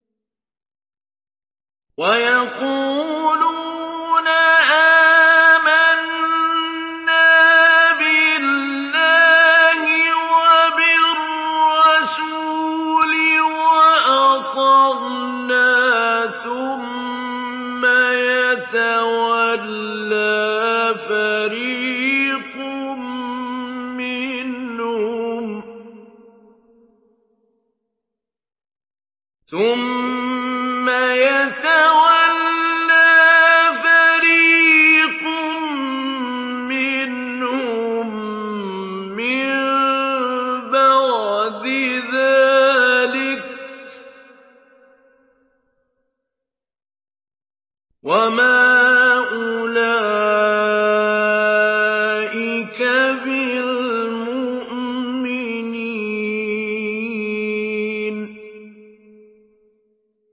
وَيَقُولُونَ آمَنَّا بِاللَّهِ وَبِالرَّسُولِ وَأَطَعْنَا ثُمَّ يَتَوَلَّىٰ فَرِيقٌ مِّنْهُم مِّن بَعْدِ ذَٰلِكَ ۚ وَمَا أُولَٰئِكَ بِالْمُؤْمِنِينَ